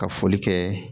Ka foli kɛ